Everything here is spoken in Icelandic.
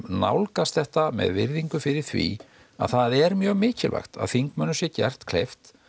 nálgast þetta með virðingu fyrir því að það er mjög mikilvægt að þingmönnum sé gert kleift